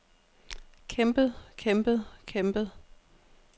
kæmpet kæmpet kæmpet